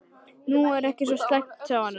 Þetta er nú ekki svo slæmt sagði hann.